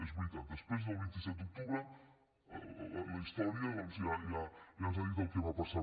és veritat després del vint set d’octubre la història doncs ja ens ha dit el que va passar